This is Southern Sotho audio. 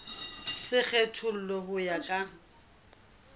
se kgethollwe ho ya ka